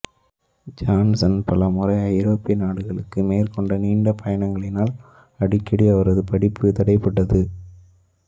Johnson பல முறை ஐரோப்பிய நாடுகளுக்கு மேற்கொண்ட நீண்ட பயணங்களினால் அடிக்கடி அவரது படிப்பு தடைப்பட்டது